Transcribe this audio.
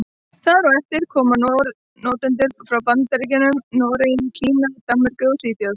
Þar á eftir koma notendur frá Bandaríkjunum, Noregi, Kína, Danmörku og Svíþjóð.